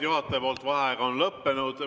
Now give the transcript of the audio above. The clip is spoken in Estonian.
Juhataja vaheaeg on lõppenud.